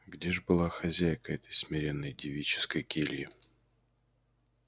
где ж была хозяйка этой смиренной девической кельи